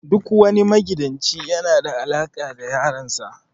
Duk wani magidanci yana da alaka da yaran sa.